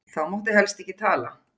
Þá mátti helst ekki tala.